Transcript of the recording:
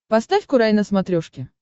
поставь курай на смотрешке